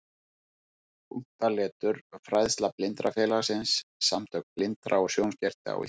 Punktaletur Fræðsla Blindrafélagið- Samtök blindra og sjónskertra á Íslandi.